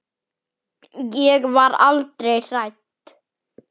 Ég var aldrei hrædd.